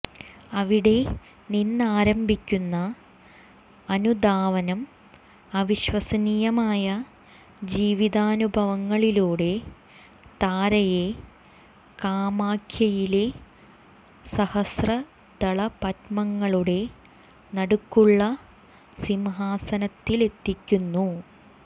അവിടെ നിന്നാരംഭിക്കുന്ന അനുധാവനം അവിശ്വസനീയമായ ജീവിതാനുഭാവങ്ങളിലൂടെ താരയെ കാമാഖ്യയിലെ സഹസ്രദളപത്മങ്ങളുടെ നടുക്കുള്ള സിംഹാസനത്തിലെത്തിക്കുന്നു